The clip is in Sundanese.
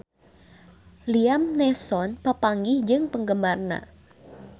Liam Neeson papanggih jeung penggemarna